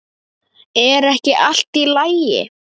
Er ekki allt í lagi?